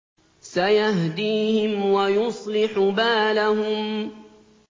سَيَهْدِيهِمْ وَيُصْلِحُ بَالَهُمْ